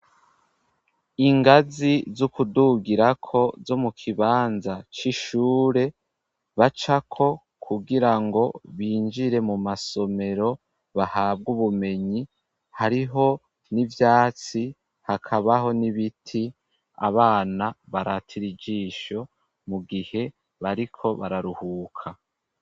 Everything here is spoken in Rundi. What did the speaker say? Ingazi z'ukudugirako zo mu kibanza c'ishure bacako kugira ngo binjire mu masomero, bahabwa ubumenyi hariho n'ivyatsi, hakabaho n'ibiti abana baratira ijisho mu gihe bariko bararuhuka.